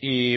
y